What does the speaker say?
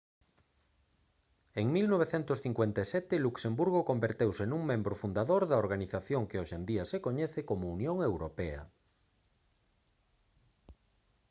en 1957 luxemburgo converteuse nun membro fundador da organización que hoxe en día se coñece como unión europea